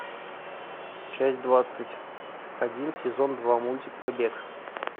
часть двадцать один сезон два мультик побег